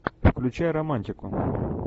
включай романтику